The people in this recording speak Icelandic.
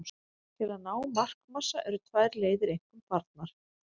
Til að ná markmassa eru tvær leiðir einkum farnar.